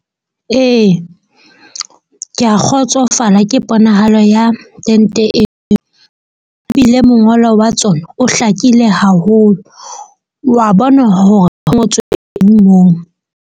Ee, ke a kgotsofala ke ponahalo ya ente e bile mongolo wa tsona o hlakile haholo. Wa bona hore ho ngotswe eng moo.